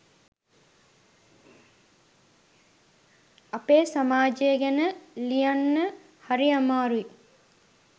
අපේ සමාජය ගැන ලියන්න හරි අමාරුයි